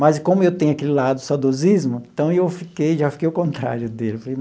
Mas como eu tenho aquele lado saudosismo, então eu fiquei já fiquei ao contrário dele eu falei.